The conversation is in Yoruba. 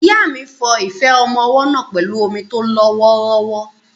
Ìyá mi fọ ife ọmọ ọwọ́ náà pẹ̀lú omi tó lọ wọ́ọ́rọ́wọ́.